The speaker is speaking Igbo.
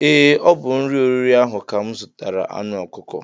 Ee ọ bu n'ụlọ oriri ahụ ka mụ zụtara anụ ọkụkọ